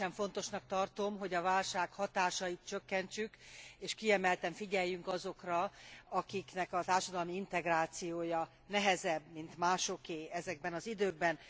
Különösen fontosnak tartom, hogy a válság hatásait csökkentsük, és kiemelten figyeljünk azokra, akiknek a társadalmi integrációja nehezebb, mint másoké ezekben az időkben.